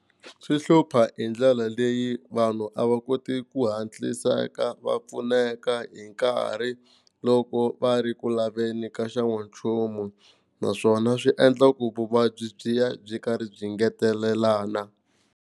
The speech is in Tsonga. Swi hlupha hi ndlela leyi vanhu a va koti ku hatliseka va pfuneka hi nkarhi loko va ri ku laveni ka xan'wanchumu, naswona swi endla ku vuvabyi byi ya byi karhi byi ngetelelana.